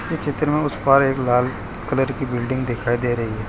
ये चित्र में उस पार एक लाल कलर की बिल्डिंग दिखाई दे रही --